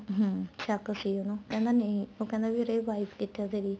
ਹਮ ਸ਼ੱਕ ਸੀ ਉਹਨੂੰ ਕਹਿੰਦਾ ਨਹੀਂ ਉਹ ਕਹਿੰਦਾ ਵੀਰੇ bike ਕਿੱਥੇ ਆ ਤੇਰੀ